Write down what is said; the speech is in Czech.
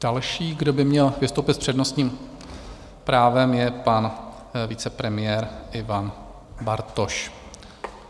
Další, kdo by měl vystoupit s přednostním právem, je pan vicepremiér Ivan Bartoš.